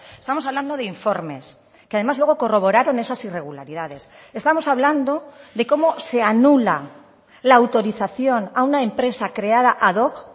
estamos hablando de informes que además luego corroboraron esas irregularidades estamos hablando de cómo se anula la autorización a una empresa creada ad hoc